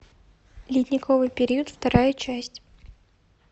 ледниковый период вторая часть